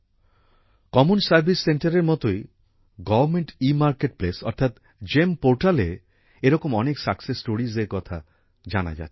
common service centre এর মতই government e market place অর্থাৎ জিইএম পোর্টালএ এরকম অনেক সাকসেস স্টোরিস এর কথা জানা যাচ্ছে